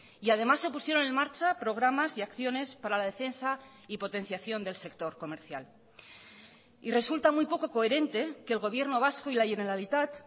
y además se pusieron en marcha programas y acciones para la defensa y potenciación del sector comercial y resulta muy poco coherente que el gobierno vasco y la generalitat